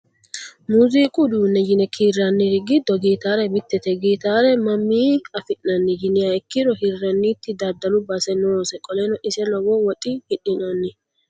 Muuzuqu uduunne yine kiirraniri giddo gitaare mittete. Gitaare mamii afi'nanni yiniha ikkiro hirranniti daddalu base noose. Qoleno ise lowo woxii hidhinanni.